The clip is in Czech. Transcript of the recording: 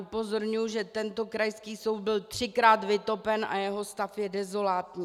Upozorňuji, že tento krajský soud byl třikrát vytopen a jeho stav je dezolátní.